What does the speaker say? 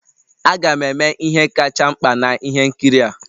Aga m eme ihe kacha mkpa na ihe nkiri a